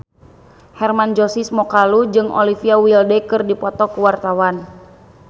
Hermann Josis Mokalu jeung Olivia Wilde keur dipoto ku wartawan